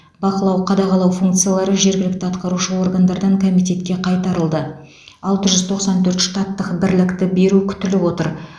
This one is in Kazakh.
бақылау қадағалау функциялары жергілікті атқарушы органдардан комитетке қайтарылды алты жүз тоқсан төрт штаттық бірлікті беру күтіліп отыр